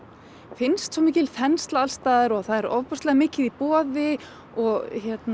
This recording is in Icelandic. finnst svo mikil þensla alls staðar og það er ofboðslega mikið í boði og